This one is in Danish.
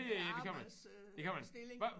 Arbejds øh stilling